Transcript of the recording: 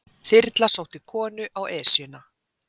Þyrla sótti konu á Esjuna